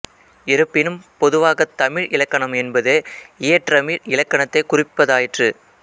இருப்பினும் பொதுவாகத் தமிழ் இலக்கணம் என்பது இயற்றமிழ் இலக்கணத்தைக் குறிப்பதாயிற்று